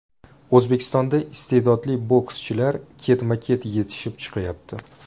O‘zbekistondan istedodli bokschilar ketma-ket yetishib chiqyapti.